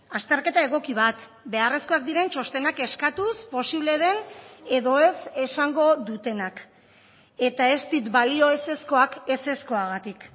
azterketa egoki bat beharrezkoak diren txostenak eskatuz posible den edo ez esango dutenak eta ez dit balio ezezkoak ezezkoagatik